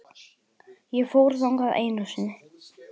Ég fór þangað einu sinni.